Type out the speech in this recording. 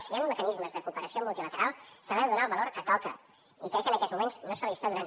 si hi han mecanismes de cooperació multilateral se’ls hi ha de donar el valor que toca i crec que en aquests moments no se’ls hi està donant